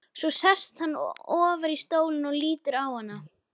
Svo sest hann ofar í stólinn og lítur á hana.